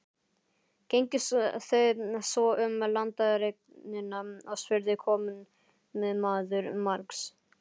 Gengu þau svo um landareignina og spurði komumaður margs.